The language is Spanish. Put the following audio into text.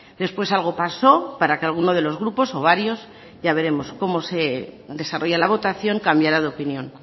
después algo paso para que alguno de los grupos o varios ya veremos cómo se desarrolla la votación cambiara de opinión